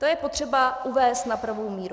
To je potřeba uvést na pravou míru.